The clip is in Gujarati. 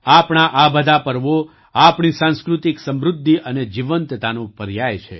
આપણા આ બધા પર્વો આપણી સાંસ્કૃતિક સમૃદ્ધિ અને જીવંતતાનો પર્યાય છે